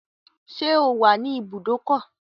Ṣẹ́ o wà ní ibùdókọ̀?